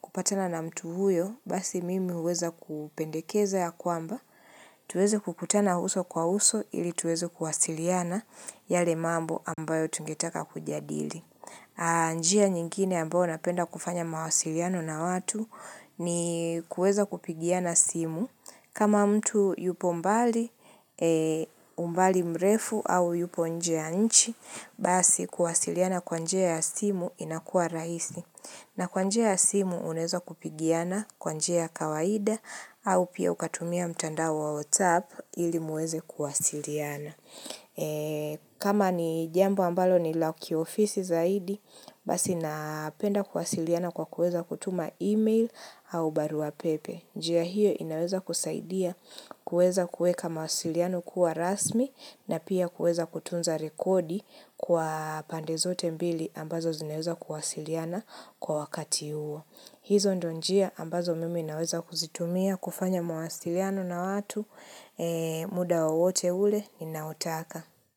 kupatana na mtu huyo, basi mimi uweza kupendekeza ya kwamba. Tuweze kukutana uso kwa uso ili tuweze kuwasiliana yale mambo ambayo tungetaka kujadili. Anjia nyingine ambao napenda kufanya mawasiliano na watu ni kueza kupigiana simu kama mtu yupo mbali mrefu au yupo nje ya nchi basi kuwasiliana kwa njea ya simu inakua rahisi na kwa njea ya simu uneza kupigiana kwa njea ya kawaida au pia ukatumia mtanda wotsap ili muweze kuwasiliana. Kama ni jambo ambalo ni la kiofisi zaidi Basi napenda kuwasiliana kwa kueza kutuma email au baruapepe njia hiyo inaweza kusaidia kueza kueka mawasiliano kuwa rasmi na pia kueza kutunza rekodi kwa pande zote mbili ambazo zinaweza kuwasiliana kwa wakati uo hizo ndo njia ambazo mimi naweza kuzitumia kufanya mawasiliano na watu muda wowote ule ninaotaka.